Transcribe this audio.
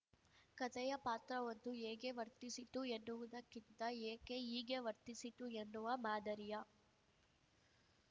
ಕಥೆಯ ಪಾತ್ರವೊಂದು ಹೇಗೆ ವರ್ತಿಸಿತು ಎನ್ನುವುದಕ್ಕಿಂತ ಏಕೆ ಹೀಗೆ ವರ್ತಿಸಿತು ಎನ್ನುವ ಮಾದರಿಯ